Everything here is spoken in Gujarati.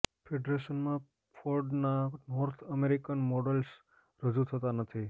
ફેડરેશનમાં ફોર્ડના નોર્થ અમેરિકન મોડલ્સ રજૂ થતા નથી